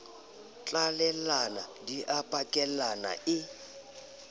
tlalellana di a pakellana e